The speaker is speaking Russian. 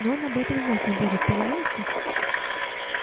но он об этом знать не будет понимаете